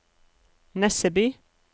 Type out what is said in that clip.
Nesseby